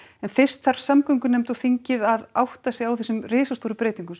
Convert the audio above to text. en fyrst þarf samgöngunefnd og þingið að átta sig á þessum risastóru breytingum